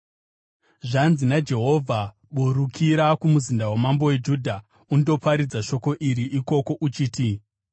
Zvanzi naJehovha: “Burukira kumuzinda wamambo weJudha undoparidza shoko iri ikoko uchiti,